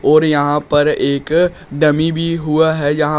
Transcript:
और यहां पर एक डमी भी हुआ है यहां--